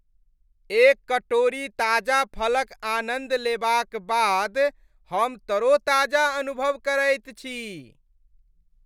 एक कटोरी ताजा फलक आनन्द लेबाक बाद हम तरोताजा अनुभव करैत छी।